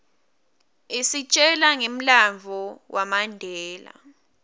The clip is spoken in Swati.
isitjela ngemlandvo wamandela